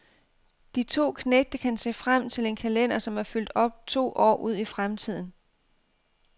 De to knægte kan se frem til en kalender, som er fyldt op to år ud i fremtiden.